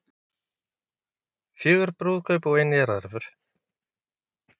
Fjögur brúðkaup og ein jarðarför